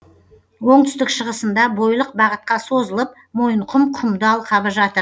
оңтүстік шығысында бойлық бағытқа созылып мойынқұм құмды алқабы жатыр